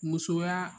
Musoya